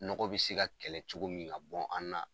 Nɔgɔ bi se ka kɛlɛ cogo min ka bɔ an na.